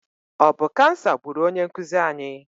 Ọ bụ kansa gburu onye nkuzi anyị?